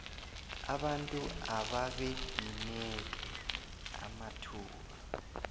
abantu ababedimeke amathuba